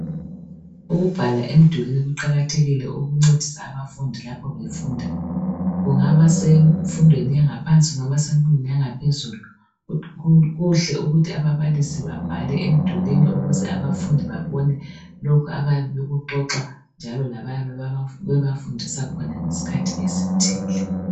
Ukubhala emdulwini kuqakathekile ukuncedisa abafundi lapho befunda, kungaba semfundweni yangaphansi kungaba semfundweni yanga phezulu kuhle ukuthi ababalisi babhale emdulwimi ukuze abafundi babone lokhe abayabe bekuxoxa njalo lababe bebafundisa khona ngesikhathi esithile.